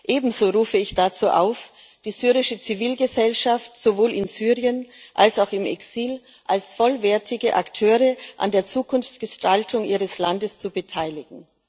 Ebenso rufe ich dazu auf, die syrische Zivilgesellschaft sowohl in Syrien als auch im Exil als vollwertige Akteure an der Zukunftsgestaltung ihres Landes zu beteiligen.